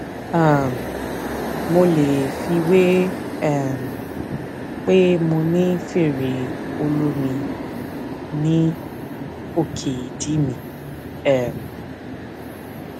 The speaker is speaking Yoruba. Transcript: um mo lè fiwé um pé mo ní fèrè olómi ní òkè ìdí mi um